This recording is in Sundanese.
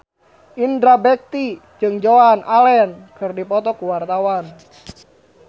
Indra Bekti jeung Joan Allen keur dipoto ku wartawan